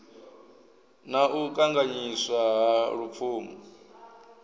na u kanganyiswa ha lupfumo